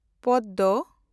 Padma